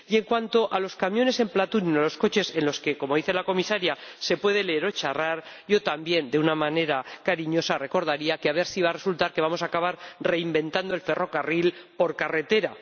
Y en cuanto a los camiones o los coches en los que, como dice la Comisaria, se puede leer o charlar, yo también de una manera cariñosa recordaría que a ver si va a resultar que vamos a acabar reinventando el ferrocarril por carretera.